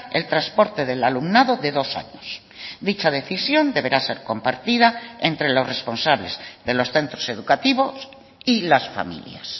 el transporte del alumnado de dos años dicha decisión deberá ser compartida entre los responsables de los centros educativos y las familias